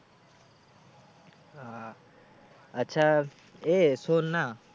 আহ আচ্ছা এ শোন না,